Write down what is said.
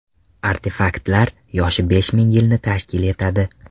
Artefaktlar yoshi besh ming yilni tashkil etadi.